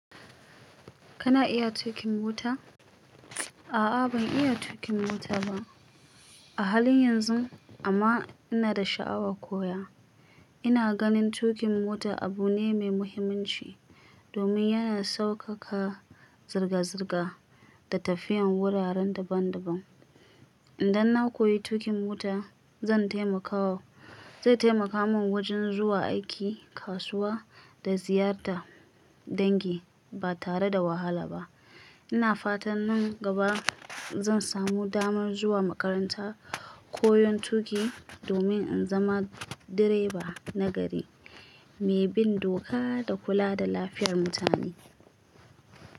Kana iya tuƙin mota? A'a ban iya tuƙin mota ba a halin yanzu, amma ina da sha'awa koya. Ina ganin tuƙin mota abu ne mai muhimmanci domin yana saukaka zirga-zirga da tafiyan wuraren daban-daban. Idan na koyi tuƙin mota, zan taimaka wa-- zai taimaka min wajen zuwa aiki, kasuwa, da ziyartar dangi ba tare da wahala ba. Ina fatan nan gaba zan samu damar zuwa makaranta koyon tuƙi domin in zama direba nagari mai bin doka da kula da lafiyar mutane.